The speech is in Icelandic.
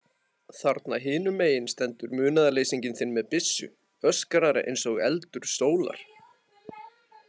Þarna hinum megin stendur munaðarleysinginn þinn með byssu, öskrar eins og eldur sólar.